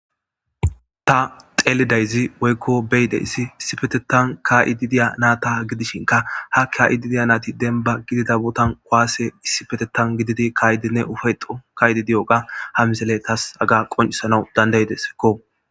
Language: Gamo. Taa xelidayisso woyikko be'idayiss issippeteththan ka'iddi diya naata gidishshinkka haa ka'iddi diya nati dennibba gidida botan kuwasee issippeteththan gididi ka'iddinne uffa'etto ka'iddi diyogaa haa missileyi tasi haga qoniccisanawu danida'iddesskko.